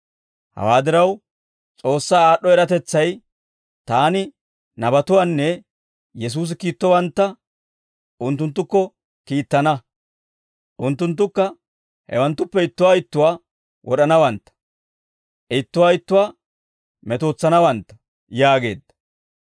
Hawaa diraw, S'oossaa aad'd'o eratetsay, Taani nabatuwaanne Yesuusi kiittowantta unttunttukko kiittana; unttunttukka hewanttuppe ittuwaa ittuwaa wod'anawantta; ittuwaa ittuwaa metootsanawantta yaageedda.